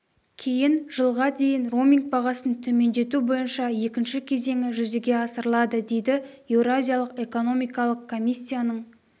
кейін жылға дейін роуминг бағасын төмендету бойынша екінші кезеңі жүзеге асырылады дейді еуразиялық экономикалық комиссияның